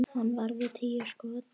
Hann varði níu skot.